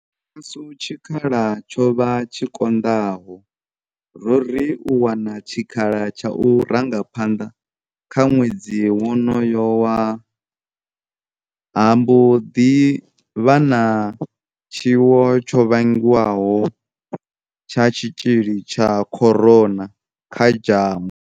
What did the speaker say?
Tshashu tshikhala tsho vha tshi konḓaho, ro ri u wana tshikhala tsha u ranga phanḓa kha ṅwedzi wonoyo ha mbo ḓi vha na tshiwo tsho vhigwaho tsha tshitzhili tsha corona kha dzhango.